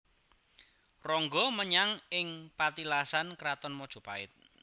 Ronggo menyang ing patilasan Kraton Mojopait